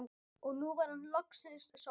Og nú var hún loksins sofnuð.